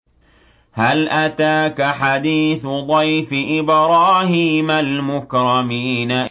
هَلْ أَتَاكَ حَدِيثُ ضَيْفِ إِبْرَاهِيمَ الْمُكْرَمِينَ